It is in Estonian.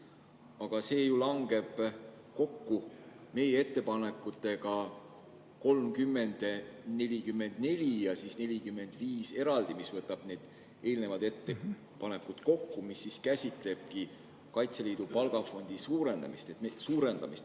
Aga see ju langeb kokku meie ettepanekutega 30, 44 ja 45, mis võtab need eelnevad ettepanekud kokku ja käsitlebki Kaitseliidu palgafondi suurendamist.